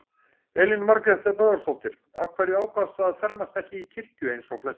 Elín Margrét Böðvarsdóttir: Af hverju ákvaðstu á fermast ekki í kirkju eins og flestir?